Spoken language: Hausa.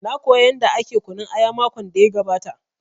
Na koya yanda ake kunun aya makon da ya gabata